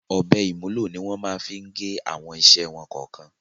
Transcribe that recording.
Ọ̀bẹ ìmúlò ni wọ́n máa ń lò fí gé àwọn iṣẹ́ wọn kọ̀ọ̀kan.